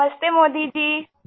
نمستے Modi جی